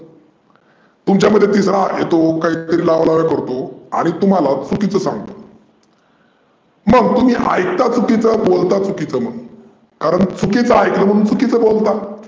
तुमच्यामध्ये तिसरा येतो काहीतरी लावालाव्या करतो आणि तुम्हाला चुकीच सांगतो. मग तुम्ही ऐकता चुकीचं आणि बोलता चुकीचं मग कारण चुकीच ऐकून चुकीचं बोलता.